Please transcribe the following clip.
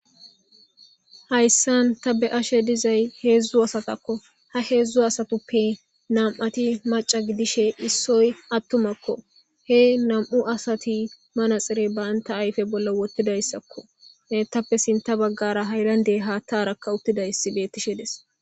Haysani ta beashe de'zay hedzdzu astakko ha hedzdzu astappe nam'ate mac'a gidshe issoy atumakko he nam'u aste manxer banta ayfe bolla banta ayfe bolla wotidayisakko etappe sintha baggara haylande haththarkka utedayise beteshe de's.